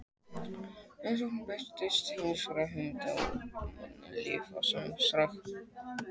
En Sókrates beitir heimspekilegri hugsun á manninn, líf hans og samfélag.